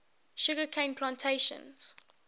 sugar cane plantations